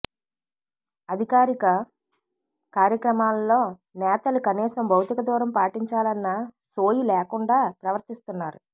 అధికారిక కార్యక్రమాల్లో నేతలు కనీసం భౌతిక దూరం పాటించాలన్న సోయి లేకుండా ప్రవర్తిస్తున్నారు